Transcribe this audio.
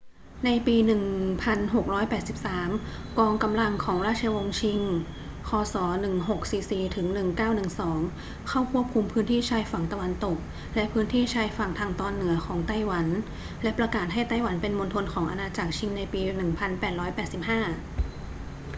ในปี 1683 กองกำลังของราชวงศ์ชิง ค.ศ. 1644-1912 เข้าควบคุมพื้นที่ชายฝั่งตะวันตกและพื้นที่ชายฝั่งทางตอนเหนือของไต้หวัน และประกาศให้ไต้หวันเป็นมณฑลของอาณาจักรชิงในปี 1885